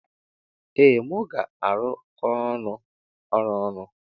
Ee mu ga arụkọnwu ọrụ ọnụ.